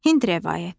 Hind rəvayəti.